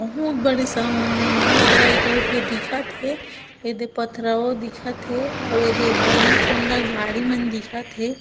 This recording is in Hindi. बहोत बड़ी सा समुद्र इ कहूक ले दिखत हे ऐ दे पत्थरओ दिखत हे आउ ऐ दे बहोत सुंदर झाड़ी मन दिखत हे।